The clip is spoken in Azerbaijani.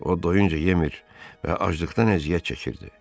O doyunca yemirdi və aclıqdan əziyyət çəkirdi.